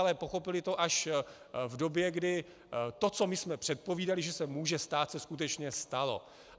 Ale pochopili to až v době kdy to, co my jsme předpovídali, že se může stát, se skutečně stalo.